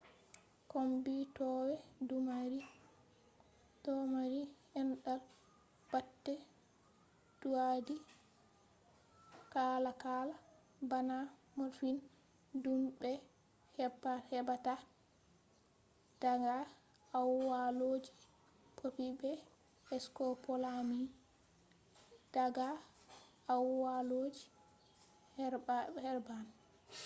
kommbitoowe domari andal bate doidi kalakala bana morphine dum be hebbata daga aawallooji poppy be scopolamine daga aawallooji herbane